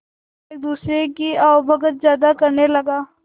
एक दूसरे की आवभगत ज्यादा करने लगा